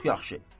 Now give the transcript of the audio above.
Çox yaxşı.